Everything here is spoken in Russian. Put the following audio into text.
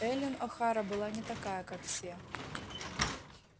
эллин охара была не такая как все